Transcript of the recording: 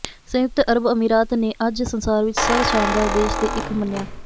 ਸੰਯੁਕਤ ਅਰਬ ਅਮੀਰਾਤ ਨੇ ਅੱਜ ਸੰਸਾਰ ਵਿੱਚ ਸਭ ਸ਼ਾਨਦਾਰ ਦੇਸ਼ ਦੇ ਇੱਕ ਮੰਨਿਆ